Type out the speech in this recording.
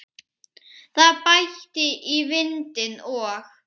Það bætti í vindinn og